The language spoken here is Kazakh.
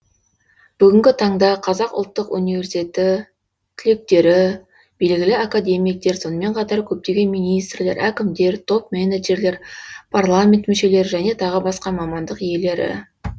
бүгінгі таңда қазақа ұлттық университеті түлектері белгілі академиктер сонымен қатар көптеген министрлер әкімдер топ менеджерлер парламент мүшелері және тағы басқа мамандық иелері